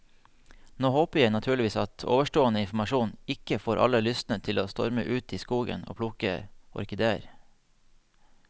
Nå håper jeg naturligvis at ovenstående informasjon ikke får alle lystne til å storme ut i skogen og plukke orkideer.